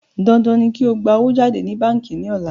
Dandan ni kí o gbà owó jáde ní báńkí ní ọ̀la